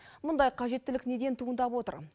мұндай қажеттілік неден туындап отыр